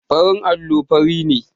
Farin allo fari ne.